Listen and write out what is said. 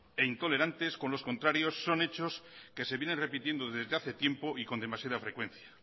e intolerantes con los contrarios son hechos que se vienen repitiendo desde hace tiempo y con demasiada frecuencia